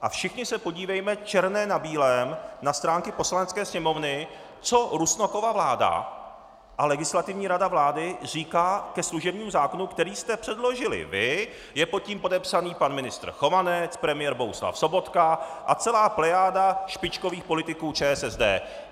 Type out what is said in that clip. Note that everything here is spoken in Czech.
A všichni se podívejme, černé na bílém, na stránky Poslanecké sněmovny, co Rusnokova vláda a Legislativní rada vlády říká ke služebnímu zákonu, který jste předložili vy, je pod tím podepsaný pan ministr Chovanec, premiér Bohuslav Sobotka a celá plejáda špičkových politiků ČSSD.